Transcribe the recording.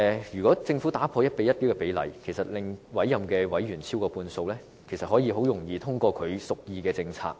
如果改變 1：1 的比例，令委任委員超過半數，政府便可以很容易通過所屬意的政策。